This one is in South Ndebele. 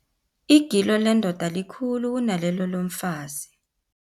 Igilo lendoda likhulu kunalelo lomfazi.